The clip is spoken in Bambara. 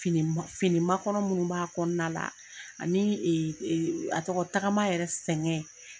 Fini fini makɔnɔ minnu b'a kɔnɔna la ani a tɔgɔ tagama yɛrɛ sɛngɛn.